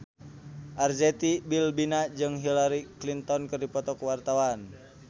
Arzetti Bilbina jeung Hillary Clinton keur dipoto ku wartawan